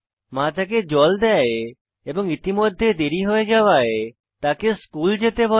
মা তাকে জল দেয় এবং ইতিমধ্যে দেরী হয়ে যাওয়ায় তাকে স্কুল যেতে বলে